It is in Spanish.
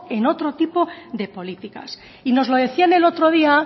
en otro tipo de políticas y nos lo decían el otro día